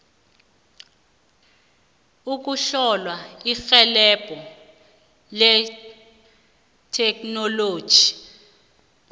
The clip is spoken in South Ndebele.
ukuthola irhelebho letheknoloji